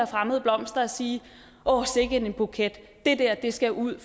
fremmede blomster og sige åh sikke en buket det dér skal ud